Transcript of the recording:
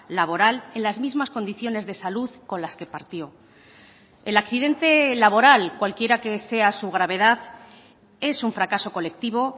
laboral en las mismas condiciones de salud con las que partió el accidente laboral cualquiera que sea su gravedad es un fracaso colectivo